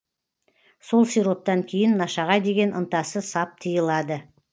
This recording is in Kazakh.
сол сироптан кейін нашаға деген ынтасы сап тыйылады